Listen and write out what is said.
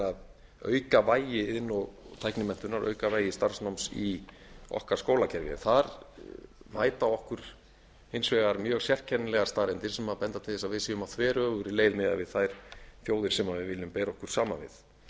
að auka vægi iðn og tæknimenntunar og auka vægi starfsmanns í okkar skólakerfi en þar mæta okkur hins vegar mjög sérkennilegar staðreyndir sem benda til þess að við erum á þveröfugri leið miðað við þær þjóðir sem við viljum bera okkur saman við það